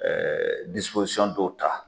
Ɛɛ disipozisɔn dɔw ta